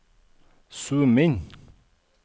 zoom inn